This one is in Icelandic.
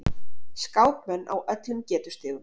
Skákmenn á öllum getustigum